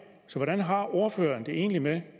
så hvordan har ordføreren det egentlig med